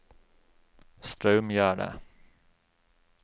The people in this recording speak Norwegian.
Straumgjerde